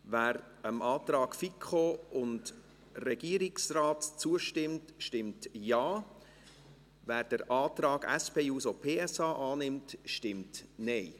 Wer dem Antrag FiKo/Regierungsrat zustimmt, stimmt Ja, wer den Antrag der SP-JUSO-PSA annimmt, stimmt Nein.